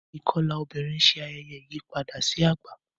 ikọla obìrin Ṣe ayẹyẹ ìyípadà sí àgbà.